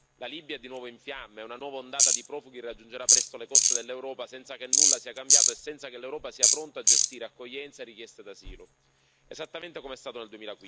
La Libia è di nuovo in fiamme e una nuova ondata di profughi raggiungerà presto le coste dell'Europa senza che nulla sia cambiato e senza che l'Europa sia pronta a gestire accoglienza e richieste d'asilo, esattamente come è stato nel